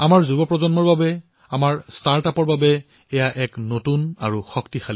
আমাৰ যুৱ প্ৰজন্মৰ বাবেও আমাৰ ষ্টাৰ্টআপসমূহৰ বাবেও এয়া এক নতুন অৱকাশ